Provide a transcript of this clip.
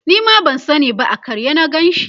Nima ban sani ba a karye na Ganshi